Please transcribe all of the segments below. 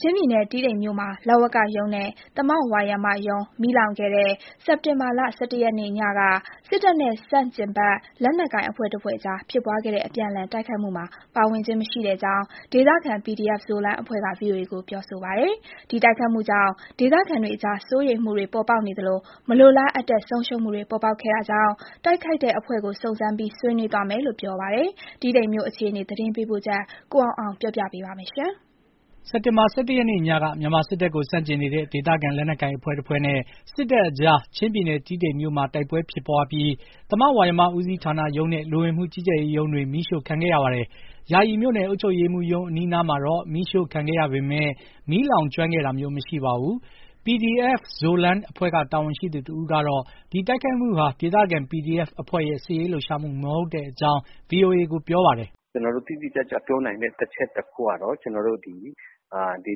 ချင်းပြည်နယ်တီးတိန်မြို့မှာ လဝကရုံးနဲ့သမဝါယမရုံး မီးလောင်ခဲ့တဲ့ အောက်တိုဘာလ ၁၁ ရက်နေ့ည က စစ်တပ်နဲ့ဆန့်ကျင်ဘက် လက်နက်ကိုင်အဖွဲ့တဖွဲ့ကြားက အပြန်အလှန်တိုက်ခိုက်မှုမှာ ပါဝင်ခြင်းမရှိကြောင်း ဒေသခံ PDF Zoland အဖွဲ့က VOA ကို ပြောပါတယ်။ ဒီတိုက်ခိုက်မှုကြောင့် ဒေသခံတွေကြား စိုးရိမ်မှုတွေ ပေါ်ပေါက်နေသလို မလိုလားအပ်တဲ့ ဆုံးရှုံးမှုတွေ ပေါ်ပေါက်ခဲ့တာကြောင့် တိုက်ခိုက်တဲ့အဖွဲ့ကိုစုံစမ်းပြီး ဆွေးနွေးသွားမယ်လို့ ပြောပါတယ်။ တီးတိန်မြို့အခြေအနေ ရန်ကုန်ကလာတဲ့ သတင်းပေးပို့ချက်ကို ကိုအောင်အောင်က တင်ပြပါမယ်။ အောက်တိုဘာလ ၁၁ ရက်နေ့ ညက မြန်မာစစ်တပ်ကိုဆန့်ကျင်နေတဲ့ ဒေသခံ လက်နက်ကိုင် အဖွဲ့တဖွဲ့နဲ့စစ်တပ်ကြား ချင်းပြည်နယ် တီးတိန်မြို့မှာ တိုက်ပွဲဖြစ်ခဲ့ပြီး သမဝါယမဦးစီးဌာနရုံးနဲ့ လူဝင်မှုကြီးကြပ်ရေးရုံးတွေ မီးရှို့ခံခဲ့ရပါတယ်။ ယာယီမြို့နယ် အုပ်ချုပ်ရေးမှူးရုံးအနားမှာ မီးရှို့ခံခဲ့ရပေမယ့် မီးလောင်ကျွမ်းခဲ့ခြင်း မရှိပါဘူး။ PDF Zoland အဖွဲ့က တာဝန်ရှိသူတဦးကေ ဒီတိုက်ခိုက်မှုဟာ ဒေသခံ PDF အဖွဲ့ရဲ့ စစ်ရေးလှုပ်ရှားမှုမဟုတ်ကြောင်း VOA ကို ပြောပါတယ်။ “ကျနော်တို့ တိတိကျကျပြောနိုင်တဲ့အချက်တခုကတော့ ကျနော်တို့ ဒေ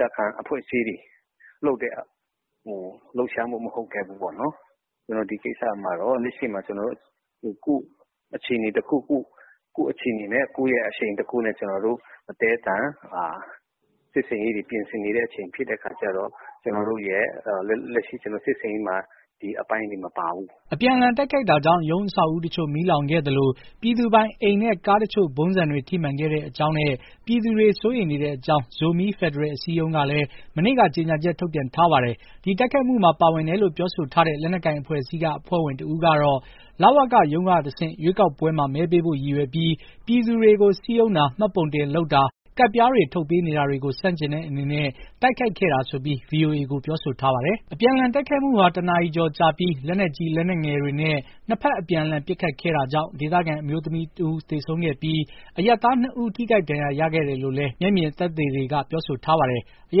သခံအဖွဲ့အစည်းတွေ လုပ်တဲ့လှုပ်ရှားမှု မဟုတ်ခဲ့ဘူးပေါ့။ ဒီကိစ္စမှာ လက်ရှိမှာ အခြေအနေတခုခု ကိုယ့်ရဲ့အခြေအနေနဲ့ ကိုယ့်ရဲ့အရှိန်တခုနဲ့ ကျနော်တို့အသည်းအသန် စစ်ဆင်ရေးတွေပြင်ဆင်နေတဲ့အချိန်ဖြစ်တဲ့အခါကျတော့ လက်ရှိစစ်ဆင်ရေးမှာ ဒီအပိုင်းတွေမပါဘူး။” အပြန်အလှန် တိုက်ခိုက်မှုကြောင့် ရုံးအဆောက်အဦးတချို့ မီးလောင်ခဲ့သလို ပြည်သူပိုင်အိမ်နဲ့ ကားတချို့ ဗုံးဆံတွေ ထိမှန်ခဲ့ကြောင်းနဲ့ ပြည်သူတွေ စိုးရိမ်နေတဲ့အကြောင်း ဇိုမီး ဖက်ဒရယ်အစည်းအရုံးကလည်း မနေ့က ကြေညာချက် ထုတ်ပြန် ထားပါတယ်။ ဒီတိုက်ခိုက်မှုမှာ ပါဝင်တယ်လို့ ပြောဆိုထားတဲ့ လက်နက်ကိုင် အဖွဲ့အစည်းက အဖွဲ့ဝင်တဦးကတော့ လဝကရုံးကတဆင့် ရွေးကောက်ပွဲမှာ မဲပေးဖို့ ရည်ရွယ်ပြီး ပြည်သူတွေကို စည်းရုံးတာ၊ မှတ်ပုံတင်လုပ်တာ၊ ကဒ်ပြားတွေ ထုတ်ပေးနေတာတွေကို ဆန့်ကျင်တဲ့အနေနဲ့ တိုက်ခိုက်ခဲ့တာဆိုပြီး VOA ကို ပြောဆိုထားပါတယ်။ အပြန်အလှန် တိုက်ခိုက်မှုဟာ ၁ နာရီ ကျော်ကြာပြီး လက်နက်ကြီး လက်နက်ငယ်တွေနဲ့ နှစ်ဖက် အပြန်အလှန် ပစ်ခတ်ခဲ့တာကြောင့် ဒေသခံအမျိုးသမီးတဦးသေဆုံးခဲ့ပြီး အရပ်သား ၂ ဦး ထိခိုက်ဒဏ်ရာရခဲ့တယ်လို့လည်း မျက်မြင်သက်သေတွေက ပြောဆိုထားပါတယ်။ အရ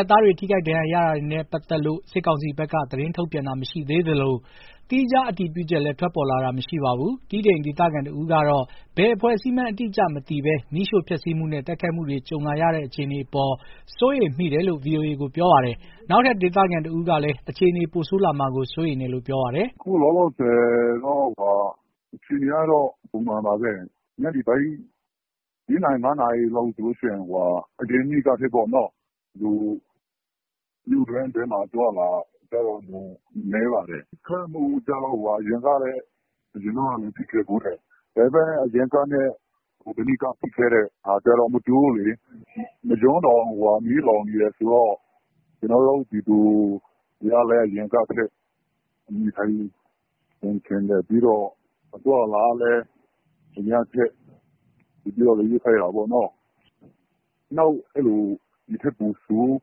ပ်သားတွေ ထိခိုက်ဒဏ်ရာရတာတွေနဲ့ ပတ်သက်လို့ စစ်ကောင်စီဘက်က သတင်းထုတ်ပြန်တာမရှိသေးသလို သီးခြား အတည်ပြုချက်လည်း ထွက်ပေါ်လာတာ မရှိပါဘူး။ တီးတိန်ဒေသခံတဦးကတော့ ဘယ်အဖွဲ့အစည်းမှန်း အတိအကျမသိဘဲ မီးရှို့ ဖျက်ဆီးမှုနဲ့ တိုက်ခိုက်မှုတွေ ကြုံလာရတဲ့ အခြေအနေအပေါ် စိုးရိမ်မိတယ်လို့ VOA ကို ပြောပါတယ်။ နောက်ထပ် ဒေသခံတဦးကလည်း အခြေအနေ ပိုဆိုးလာမှာကို စိုးရိမ်တယ်လို့ ပြောပါတယ်။ “အခုလောလောဆယ်ကတော့ အခြေအနေကတော့ ပုံမှန်ပါပဲ။ ညနေပိုင်း လေးနာရီ၊ ငါးနာရီလောက်ဆိုလို့ရှိရင် အရင်နေ့ကထက် လူအသွားအလာတော်တော်ကို နည်းပါတယ်။.....အရင်တုန်းကလည်း ဖြစ်ခဲ့ဖူးတယ်။.......အရင်ကဖြစ်ခဲ့တာနဲ့ မတူဘူးလေ။ ရုံးတောင် မီးလောင်နေတယ်ဆိုတော့....ပြီးတော့ အသွားအလာကလည်း အရမ်းခက်....နောက် ဒိထက်ပိုဆိုး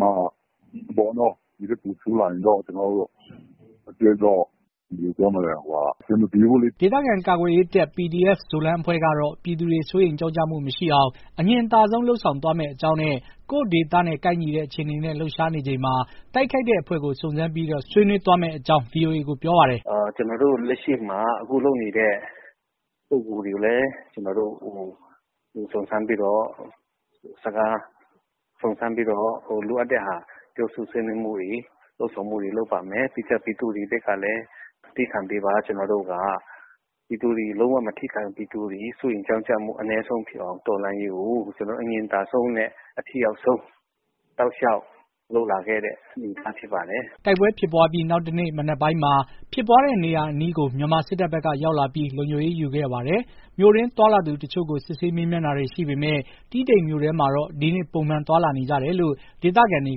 မှာ - ဒိထက်ပိုဆိုးလာရင်တော့ ကျနော်တို့ အတွက်တော့ အဆင်မပြေဘူးလေ။” ဒေသခံ ကာကွယ်ရေးတပ် PDF Zoland အဖွဲ့ကတော့ ပြည်သူတွေ စိုးရိမ်ကြောင့်ကြမှု မရှိအောင် အငြင်သာဆုံးလုပ်ဆောင်သွားမယ့်အကြောင်းနဲ့ ကိုယ့်ဒေသနဲ့ ကိုက်ညီတဲ့ အခြေအနေနဲ့ လှုပ်ရှားနေချိန်မှာ တိုက်ခိုက်တဲ့အဖွဲ့ကို စုံစမ်းပြီး ဆွေးနွေးသွားမယ့်အကြောင်း VOA ကို ပြောပါတယ်။ “ကျနော်တို့လက်ရှိမှာ အခုလုပ်နေတဲ့ ပုဂ္ဂိုလ်တွေကိုလည်း ကျနော်တို့စုံစမ်းပြီးတော့ လိုအပ်တဲ့ပြောဆိုဆွေးနွေးမှုတွေ၊ တွေ့ဆုံမှုတွေလုပ်ပါမယ်။ ပြီးတော့ကျ ပြည်သူတွေဘက်ကလည်း သည်းခံပေးပါ။ ကျနော်တို့က ပြည်သူတွေ လုံးဝမထိခိုက်အောင်၊ ပြည်သူတွေ စိုးရိမ်ကြောင့်ကျမှုအနည်းဆုံးဖြစ်အောင် တော်လှန်ရေးကို အငြင်သာဆုံးနဲ့အထိရောက်ဆုံးဖြစ်အောင် အထိရောက်ဆုံး တောက်လျှောက်လုပ်လာခဲ့တဲ့ အနေအထား ဖြစ်ပါတယ်။” တိုက်ပွဲဖြစ်ပွားပြီး နောက်တနေ့ မနက်ပိုင်းမှာ ဖြစ်ပွားတဲ့နေရာအနီးကို မြန်မာစစ်တပ်ဘက်က ရောက်လာပြီး လုံခြုံရေးယူခဲ့ပါတယ်။ မြို့တွင်း သွားလာသူအချို့ကို စစ်ဆေး မေးမြန်းတာတွေ ရှိခဲ့ပေမဲ့ တီးတိန်မြို့ထဲမှာတော့ ဒီနေ့ ပုံမှန်သွားလာနေကြတယ်လို့ ဒေသခံတွေ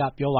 က ပြောပါ